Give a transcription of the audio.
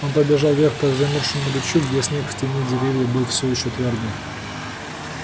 он побежал вверх по замёрзшему ручью где снег в тени деревьев был всё ещё твёрдый